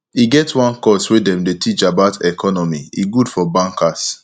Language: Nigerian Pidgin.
e get one course way dem dy teach about economy e good for bankers